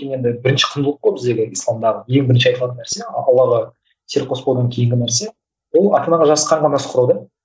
енді бірінші құндылық қой біздегі исламдағы ең бірінші айтылатын нәрсе аллаға селқос болудан кейінгі нәрсе ол ата анаға